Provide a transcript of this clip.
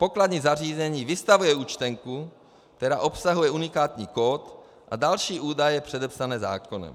Pokladní zařízení vystavuje účtenku, která obsahuje unikátní kód a další údaje předepsané zákonem.